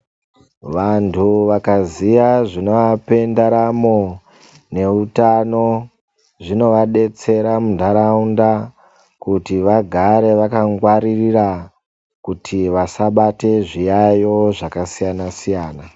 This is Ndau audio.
Vantu vakaziye zvinovape ndaramo neutano zvinovadetsera mundaraunda kuti vagare vakangwara kuti vasabate zviyaiyo zvakasiyana siyana.